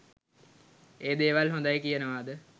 ඒ දේවල් හොදයි කියනවාද